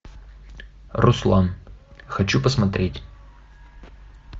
руслан хочу посмотреть